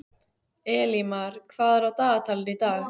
Elímar, hvað er á dagatalinu í dag?